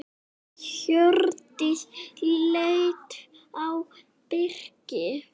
Hjördís leit á Birki.